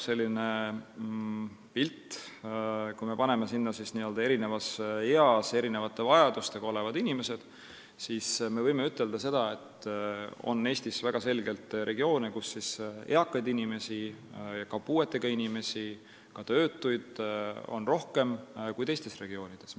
Kui me toome seal välja eri eas ja erinevate vajadustega inimesed, siis võime ütelda, et Eestis on selgelt regioone, kus on eakaid inimesi, puuetega inimesi ja ka töötuid rohkem kui teistes regioonides.